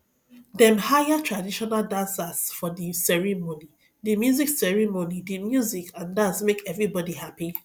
dem hire traditional dancers for di ceremony di music ceremony di music and dance make everybodi hapi